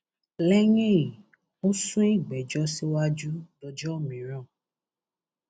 lẹyìn èyí ó sún ìgbẹjọ síwájú dọjọ mìíràn